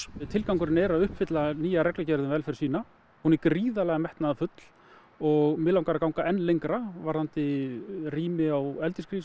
tilgangurinn er að uppfylla nýja reglugerð um velferð svína hún er gríðarlega metnaðarfull og mig langar að ganga enn lengra varðandi rými á